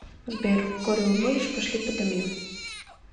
сбер курево будешь пошли подымим